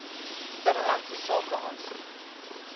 binnelandse sake aansoek